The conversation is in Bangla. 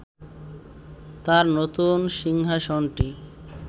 তাঁর নতুন সিংহাসনটি